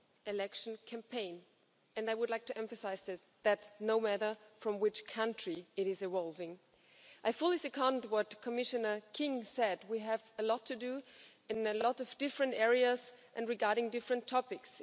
election campaign and I would like to emphasise this no matter from which country it is evolving. I fully second what Commissioner King said we have a lot to do in a lot of different areas and regarding different topics.